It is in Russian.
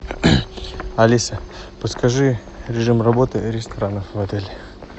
алиса подскажи режим работы ресторана в отеле